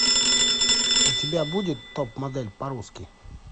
у тебя будет топ модель по русски